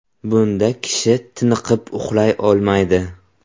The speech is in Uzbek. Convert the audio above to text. Bunda kishi tiniqib uxlay olmaydi.